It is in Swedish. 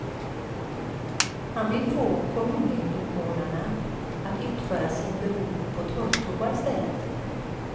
Han vill få kommuninvånarna att utföra sin behov på torrtoa i stället.